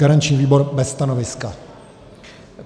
Garanční výbor bez stanoviska.